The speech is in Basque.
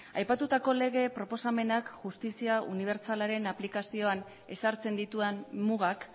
aipatutako lege proposamenak justizia unibertsalaren aplikazioan ezartzen dituen mugak